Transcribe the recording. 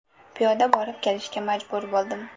Piyoda borib kelishga majbur bo‘ldim.